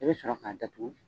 I be sɔrɔ ka datugu